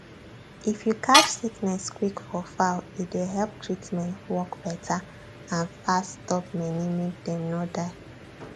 if you catch sickness quick for fowl e dey help treatment work better and fast stop many make dem no die